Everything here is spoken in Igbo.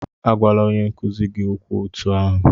Agwala onye nkuzi gị okwu otú ahụ!